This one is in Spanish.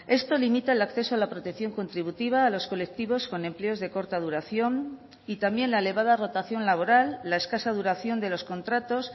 esto limita el acceso a la protección contributiva a los colectivos con empleos de corta duración y también la elevada rotación laboral la escasa duración de los contratos